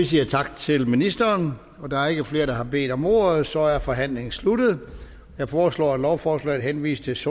tak til ministeren der er ikke flere der har bedt om ordet og så er forhandlingen sluttet jeg foreslår at lovforslaget henvises